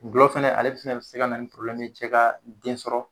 Gulɔ fɛnɛ ale fɛnɛ be se ka na ni porobilɛmu ye cɛ ka den sɔrɔ